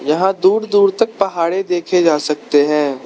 यहां दूर दूर तक पहाड़े देखे जा सकते हैं।